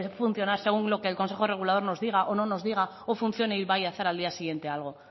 funcionar según lo que el consejo regulador nos diga o no nos diga o funcione y vaya a hacer al día siguiente algo